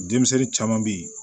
Denmisɛnnin caman bɛ yen